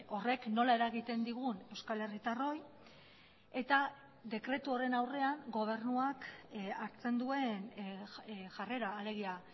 horrek nola eragiten digun euskal herritarroi eta dekretu horren aurrean gobernuak hartzen duen jarrera alegia